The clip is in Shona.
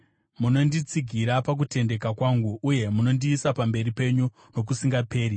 Munonditsigira pakutendeka kwangu, uye munondiisa pamberi penyu nokusingaperi.